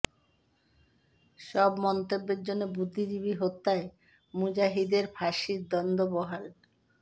সব মন্তব্যের জন্য বুদ্ধিজীবী হত্যায় মুজাহিদের ফাঁসির দণ্ড বহাল